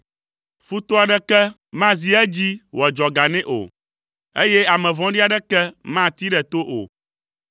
Futɔ aɖeke mazi edzi wòadzɔ ga nɛ o, eye ame vɔ̃ɖi aɖeke matee ɖe to o.